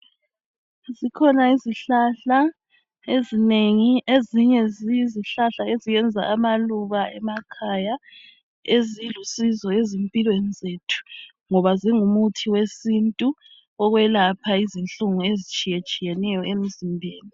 Zikhona izihlahla ezinengi ezinye ziyizihlahla ezenza amaluba emakhaya ezilusizo ezimpilweni zethu ngoba zingumuthi wesintu wokwelapha izinhlungu ezitshiyetshiyeneyo emzimbeni.